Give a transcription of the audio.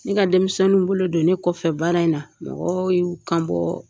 Ne ka denmisɛnninw bolo don ne kɔfɛ baara in na, mɔgɔ y'u kan bɔ